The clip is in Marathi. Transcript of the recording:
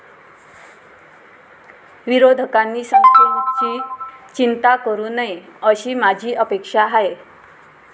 विरोधकांनी संख्येची चिंता करू नये, अशी माझी अपेक्षा आहे.